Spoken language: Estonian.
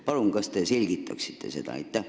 Kas te palun selgitaksite seda?